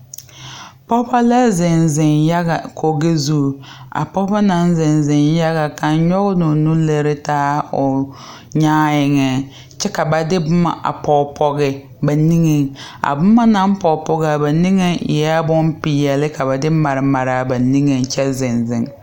Pɔɡebɔ la zeŋzeŋ yaɡa koɡi zu a pɔɡebɔ na zeŋzeŋ yaɡa kaŋ nyɔɡe la o nu lere taa a o nyaa eŋɛ kyɛ ka ba de boma a pɔɡepɔɡe ba niŋeŋ a boma na pɔɡepɔɡe ba niŋeŋ eɛ bompeɛle ka ba de maremare ba niŋeŋ kyɛ zeŋzeŋ .